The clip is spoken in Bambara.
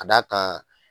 Ka d'a kan